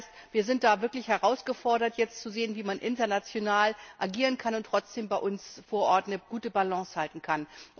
Das heißt, wir sind da wirklich herausgefordert, jetzt zu sehen, wie man international agieren und trotzdem bei uns vor Ort eine gute Balance halten kann.